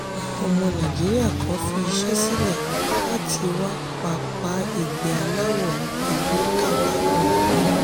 àwọn ọmọ nàìjíríà kan fi iṣẹ́ sílẹ̀ láti wá pápá ìgbẹ́ aláwọ̀ ewé kábàámọ̀.